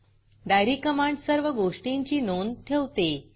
Diaryडाइयरी command सर्व गोष्टींची नोंद ठेवते